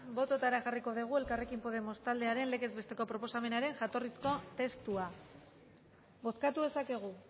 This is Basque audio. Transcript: botoetara jarriko dugu elkarrekin podemos taldearen legez besteko proposamenaren jatorrizko testua bozkatu dezakegu